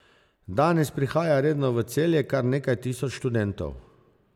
Danes prihaja redno v Celje kar nekaj tisoč študentov.